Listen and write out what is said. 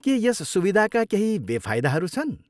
के यस सुविधाका केही बेफाइदाहरू छन्?